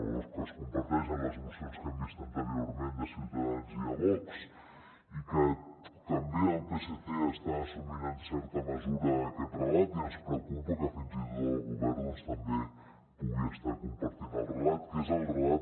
o que es comparteix en les mocions que hem vist anteriorment de ciutadans i de vox i que també el psc està assumint en certa mesura aquest relat i ens preocupa que fins i tot el govern també pugui estar compartint el relat